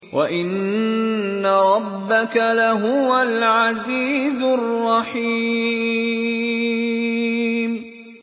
وَإِنَّ رَبَّكَ لَهُوَ الْعَزِيزُ الرَّحِيمُ